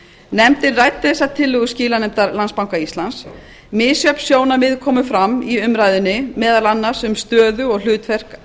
nefndin ræddi þessa tillögu skilanefndar landsbanka íslands misjöfn sjónarmið komu fram í umræðunni meðal annars um stöðu og hlutverk